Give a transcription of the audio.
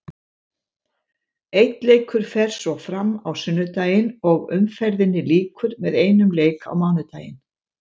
Einn leikur fer svo fram á sunnudaginn og umferðinni lýkur með einum leik á mánudaginn.